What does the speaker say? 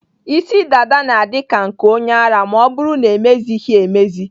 Isi dada na-adị ka nke onye ara ma ọ bụrụ na-emezighị emezi.